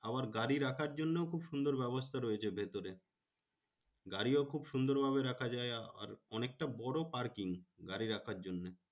আবার গাড়ি রাখার জন্যও খুব সুন্দর ব্যবস্থা রয়েছে ভেতরে। গাড়িও খুব সুন্দর ভাবে রাখা যায়। আর অনেকটা বড় parking গাড়ি রাখার জন্যে।